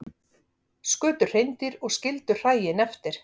Skutu hreindýr og skildu hræin eftir